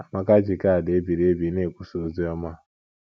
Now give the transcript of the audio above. Amaka ji kaadị e biri ebi ebi na - ekwusa ozi ọma